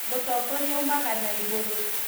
mũtongoria aumaga na igũrũ